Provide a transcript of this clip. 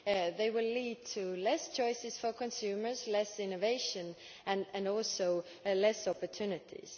They will lead to fewer choices for consumers, less innovation and also fewer opportunities.